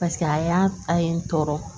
Paseke a y'a a ye n tɔɔrɔ